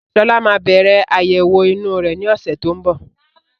Sọlá máa bẹ̀rẹ̀ àyẹ̀wọ̀ inú rẹ ni ọ̀sẹ̀ tó ń bọ̀